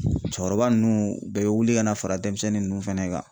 Cɛkɔrɔba ninnu u bɛɛ bɛ wuli ka na fara denmisɛnnin ninnu fana kan.